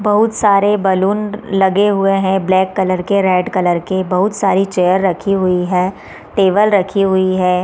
बहुत सारे बलून लगे हुए है ब्लैक कलर के रेड कलर के बहुत सारी चेयर रखी हुई है टेबल रखी हुई है।